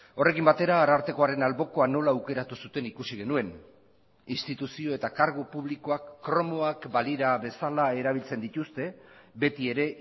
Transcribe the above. horrekin batera arartekoaren albokoan nola aukeratu zuten ikusi genuen instituzio eta kargu publikoak kromoak balira bezala erabiltzen dituzte betiere